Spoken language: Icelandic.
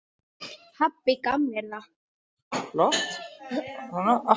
Pabbi gaf mér það.